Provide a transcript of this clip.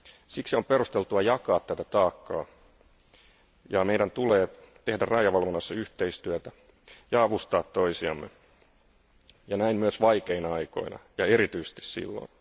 Siksi on perusteltua jakaa tätä taakkaa, ja meidän tulee tehdä rajavalvonnassa yhteistyötä ja avustaa toisiamme, ja näin myös vaikeina aikoina, ja erityisesti silloin.